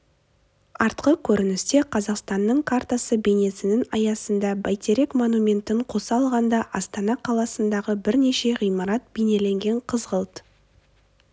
артқы көріністе қазақстан картасы бейнесінің аясында бәйтерек монументін қоса алғанда астана қаласындағы бірнеше ғимарат бейнеленген қызғылт